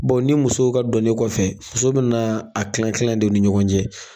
ni musow ka dɔni kɔfɛ, musow bɛna a kila kila de u ni ɲɔgɔn cɛ.